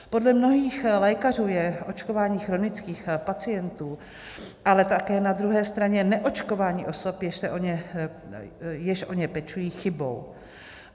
Podle mnohých lékařů je očkování chronických pacientů, ale také na druhé straně neočkování osob, jež o ně pečují, chybou.